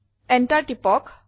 Enter টিপক